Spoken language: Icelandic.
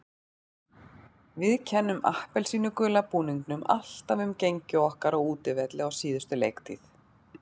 Við kennum appelsínugula búningnum alltaf um gengi okkar á útivelli á síðustu leiktíð.